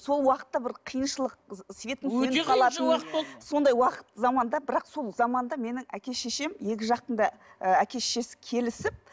сол уақытта бір қиыншылық сондай уақыт заманда бірақ сол заманда менің әке шешем екі жақтың да ы әке шешесі келісіп